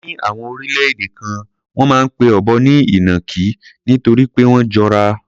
Ní àwọn orílẹ̀-èdè kan, wọ́n máa ń pe ọ̀bọ ní ìnàkí nítorí pé wọ́n jọra.